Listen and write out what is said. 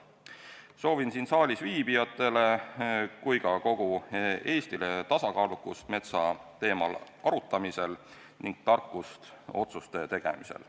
Soovin nii siin saalis viibijatele kui ka kogu Eestile tasakaalukust metsa teemal arutamisel ning tarkust otsuste tegemisel.